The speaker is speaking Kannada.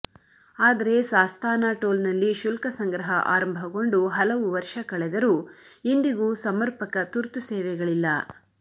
ಆದರೆ ಸಾಸ್ತಾನ ಟೋಲ್ನಲ್ಲಿ ಶುಲ್ಕ ಸಂಗ್ರಹ ಆರಂಭಗೊಂಡು ಹಲವು ವರ್ಷ ಕಳೆದರೂ ಇಂದಿಗೂ ಸಮರ್ಪಕ ತುರ್ತು ಸೇವೆಗಳಿಲ್ಲ